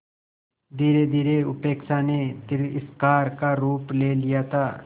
धीरेधीरे उपेक्षा ने तिरस्कार का रूप ले लिया था